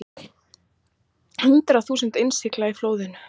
Hundruð þúsunda innlyksa í flóðunum